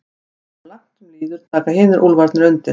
Áður en langt um líður taka hinir úlfarnir undir.